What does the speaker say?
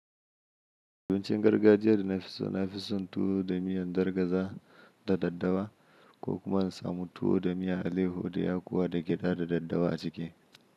Abincin gargajiya da nafi so nafi son tuwo da miyan dargaza da daddawa ko kuma in samu tuwo da miyar alayyaho da y kuwa da gyada da daddawa a ciki.